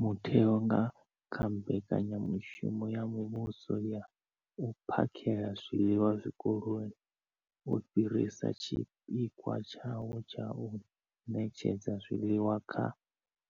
Mutheo, nga kha mbekanyamushumo ya muvhuso ya u phakhela zwiḽiwa zwikoloni, wo fhirisa tshipikwa tshawo tsha u ṋetshedza zwiḽiwa kha